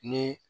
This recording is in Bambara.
Ni